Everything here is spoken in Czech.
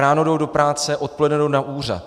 Ráno jdou do práce, odpoledne jdou na úřad.